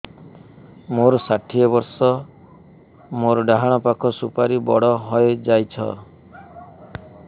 ମୋର ଷାଠିଏ ବର୍ଷ ମୋର ଡାହାଣ ପାଖ ସୁପାରୀ ବଡ ହୈ ଯାଇଛ